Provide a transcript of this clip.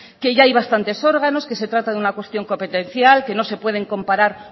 que ya hay bastantes órganos que se trata de una cuestión competencial que no se pueden comparar